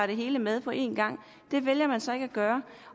det hele med på en gang det vælger man så ikke at gøre